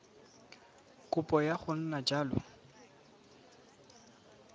kopo ya go nna jalo